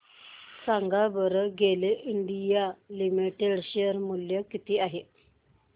सांगा बरं GAIL India limited share मूल्य किती आहे